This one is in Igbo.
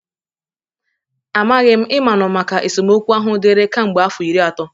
Amaghi. Ị manụ maka esemokwu ahụ dịri ka mgbe afọ iri ato.